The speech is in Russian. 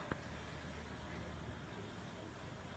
выведи мне клип сейки сейки